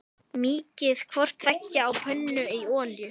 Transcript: Mýkið hvort tveggja á pönnu í olíu.